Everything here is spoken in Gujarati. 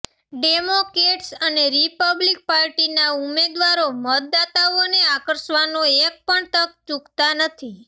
ડેમોક્રેટ્સ અને રિપબ્લિક પાર્ટીના ઉમેદવારો મતદાતાઓને આકર્ષવાનો એક પણ તક ચૂકતા નથી